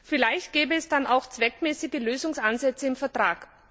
Vielleicht gäbe es dann auch zweckmäßige Lösungsansätze im Vertrag.